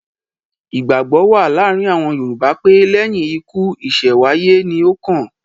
Ìgbàgbọ́ wà láàárin àwọn Yorùbá pé; lẹ́yìn ikú ìṣẹ̀wáyé ni ó kàn.